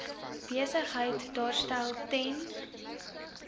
besigheid daarstel ten